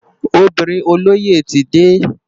Óbirin ólóyé ti dé